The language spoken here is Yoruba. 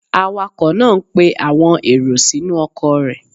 Awakọ̀ náá ń pe àwọn èrò sínú ọkọ̀ rẹ̀